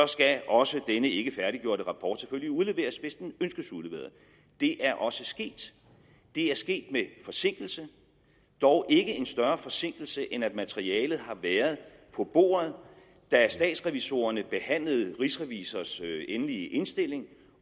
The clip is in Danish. skal også denne ikke færdiggjorte rapport selvfølgelig udleveres hvis den ønskes udleveret det er også sket det er sket med forsinkelse dog ikke en større forsinkelse end at materialet har været på bordet da statsrevisorerne behandlede rigsrevisors endelig indstilling